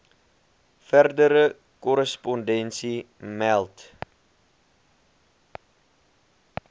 verdere korrespondensie meld